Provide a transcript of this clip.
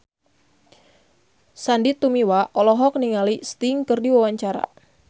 Sandy Tumiwa olohok ningali Sting keur diwawancara